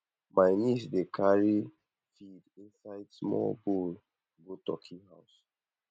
my niece dey carry feed inside small bowl go turkey house